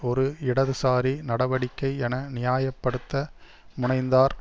ஒரு இடதுசாரி நடவடிக்கை என நியாப்படுத்த முனைந்தார்